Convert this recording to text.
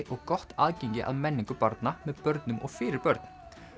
og gott aðgengi að menningu barna með börnum og fyrir börn